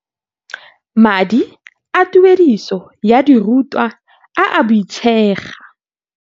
Madi a tuediso ya dirutwa a a boitshega.